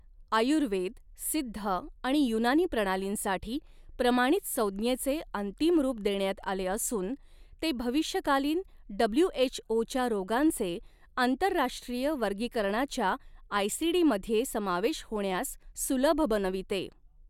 आयुर्वेद, सिद्ध आणि युनानी प्रणालींसाठी प्रमाणित संज्ञेचे अंतिम रूप देण्यात आले असून ते भविष्यकालीन डब्ल्यूएचओच्या रोगांचे आंतरराष्ट्रीय वर्गीकरणाच्या आयसीडी मध्ये समावेश होण्यास सुलभ बनविते.